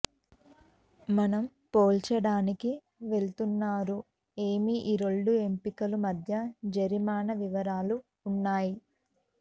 మనం పోల్చడానికి వెళ్తున్నారు ఏమి ఈ రెండు ఎంపికలు మధ్య జరిమానా వివరాలు ఉన్నాయి